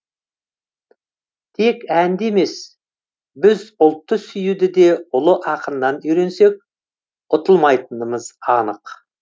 тек әнді емес біз ұлтты сүюді де ұлы ақыннан үйренсек ұтылмайтынымыз анық